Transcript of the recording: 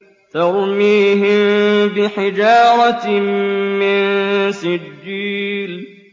تَرْمِيهِم بِحِجَارَةٍ مِّن سِجِّيلٍ